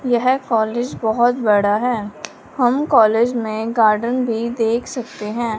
यह कॉलेज बहुत बड़ा है हम कॉलेज में गार्डन भी देख सकते हैं।